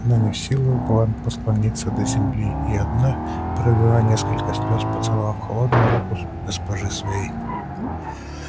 она не в силах была поклониться до земли и одна пролила несколько слёз поцеловав холодную руку госпожи своей